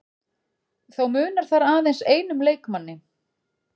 Þó munar þar aðeins einum leikmanni